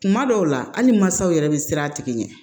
Kuma dɔw la hali masaw yɛrɛ be siran a tigi ɲɛ